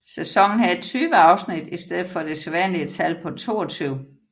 Sæsonen havde 20 afsnit i stedet for det sædvanlige tal på 22